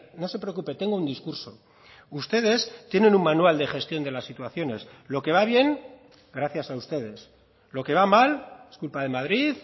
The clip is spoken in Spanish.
no se preocupe tengo un discurso ustedes tienen un manual de gestión de las situaciones lo que va bien gracias a ustedes lo que va mal es culpa de madrid